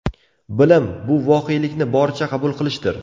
Bilim – bu voqelikni boricha qabul qilishdir.